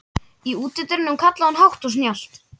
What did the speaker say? Í útidyrunum kallaði hún hátt og snjallt.